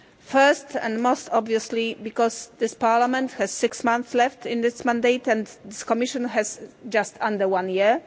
First, and most obviously, because this Parliament has six months left in this term and this Commission has just under one year.